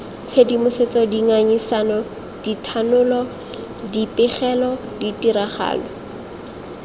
tshedimosetso dingangisano dithanolo dipegelo ditiragalo